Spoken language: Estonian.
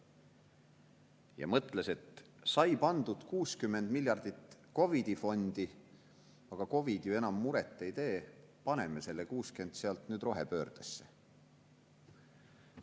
Ja mõtles, et sai pandud 60 miljardit COVID‑i fondi, aga COVID ju enam muret ei tee, paneme selle 60 miljardit sealt nüüd rohepöördesse.